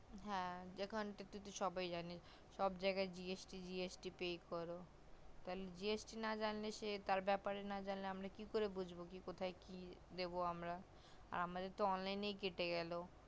হা এখন তো সবাই জানে যে সব জায়গায় gst gst pray করো তালে gst না জানলে সে তার ব্যাপারে না তালে আমরা কি করে বুজবো যে কোথায় কি দেব আমরা আর আমাদের তো online এ কেটে গেল